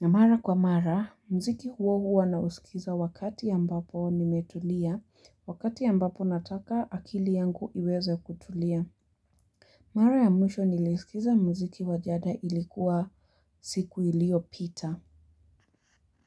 Na mara kwa mara, muziki huo huwa naisikiza wakati ya ambapo nimetulia, wakati ambapo nataka akili yangu iweze kutulia. Mara ya mwisho nilisikiza muziki wa jada ilikuwa siku iliyo pita.